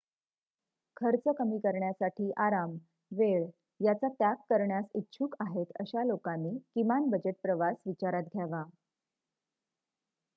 खर्च कमी करण्यासाठी आराम वेळ याचा त्याग करण्यास इच्छुक आहेत अशा लोकांनी किमान बजेट प्रवास विचारात घ्यावा